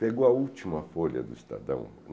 Pegou a última folha do Estadão.